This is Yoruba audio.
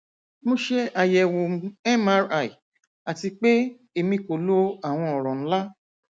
mo ṣe ayẹwo mri ati pe emi ko lo awọn ọrọ nla